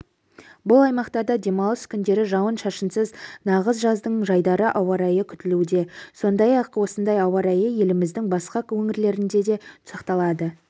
бұл аймақтарда демалыс күндері жауын-шашынсыз нағыз жаздың жайдары ауа райы күтілуде сондай-ақ осындай ауа райы еліміздің басқа өңірлерінде де сақталады